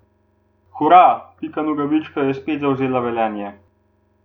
Hura, Pika Nogavička je spet zavzela Velenje!